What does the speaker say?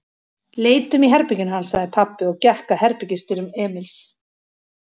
Leitum í herberginu hans, sagði pabbi og gekk að herbergisdyrum Emils.